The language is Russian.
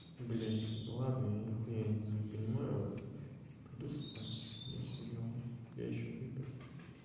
б ладно я н не понимаю вас пойду спать не охуенного я ещё выпил